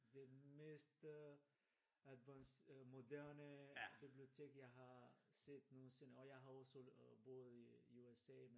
Det den mest øh advance øh moderne bibliotek jeg har set nogensinde og jeg har også boet i USA